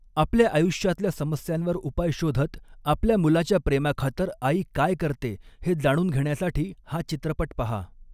आपल्या आयुष्यातल्या समस्यांवर उपाय शोधत आपल्या मुलाच्या प्रेमाखातर आई काय करते, हे जाणून घेण्यासाठी हा चित्रपट पहा.